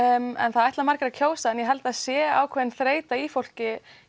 það ætla margir að kjósa en ég held það sé ákveðin þreyta í fólki